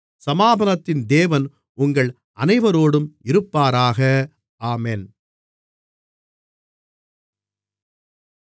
சமாதானத்தின் தேவன் உங்கள் அனைவரோடும் இருப்பாராக ஆமென்